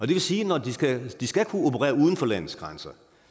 det vil sige at de skal kunne operere uden for landets grænser